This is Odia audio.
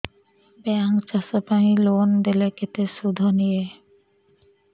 ବ୍ୟାଙ୍କ୍ ଚାଷ ପାଇଁ ଲୋନ୍ ଦେଲେ କେତେ ସୁଧ ନିଏ